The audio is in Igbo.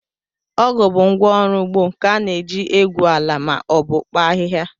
Ọgụ bụ ngwá ọrụ ugbo nke a na-eji egwu ala ma obu kpaa ahịhịa